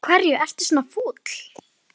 Af hverju ertu svona fúll?